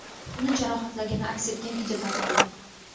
uni jarohatlagani aks etgan video tarqaldi.